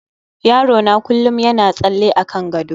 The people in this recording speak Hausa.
yaro na kullum yana tsalle akan gado